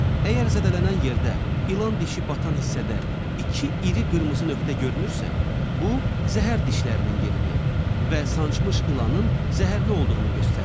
Əgər zədələnən yerdə ilan dişi batan hissədə iki iri qırmızı nöqtə görünürsə, bu zəhər dişlərinin yeridir və sancmış ilanın zəhərli olduğunu göstərir.